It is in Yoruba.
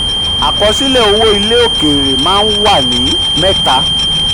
37. àkọsílẹ̀ owó ilẹ̀ òkèèrè maa ń wà ní mẹ́ta.